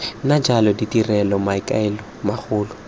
nna jalo ditirelo maikaelelo magolo